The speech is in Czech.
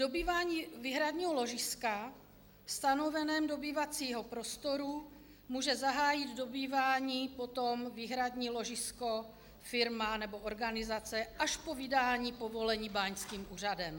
Dobývání výhradního ložiska stanovením dobývacího prostoru může zahájit dobývání potom výhradní ložisko firma nebo organizace až po vydání povolení báňským úřadem (?).